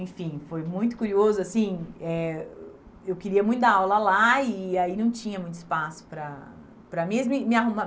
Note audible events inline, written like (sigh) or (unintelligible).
Enfim, foi muito curioso, assim, eh eu queria muito dar aula lá e aí não tinha muito espaço para para mim. (unintelligible)